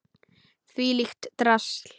Þvílíkt drasl!